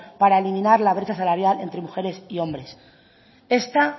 para eliminar la brecha salarial entre mujeres y hombres esta